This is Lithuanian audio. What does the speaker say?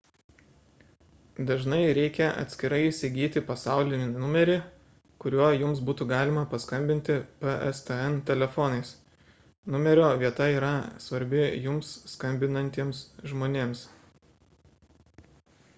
dažnai reikia atskirai įsigyti pasaulinį numerį kuriuo jums būtų galima paskambinti pstn telefonais numerio vieta yra svarbi jums skambinantiems žmonėms